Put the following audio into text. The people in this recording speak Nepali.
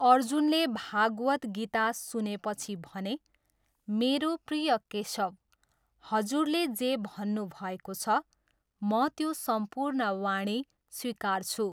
अर्जुनले भागवत् गीता सुनेपछि भने, 'मेरो प्रिय केशव, हजुरले जे भन्नुभएको छ, म त्यो सम्पूर्ण वाणी स्वीकार्छु।'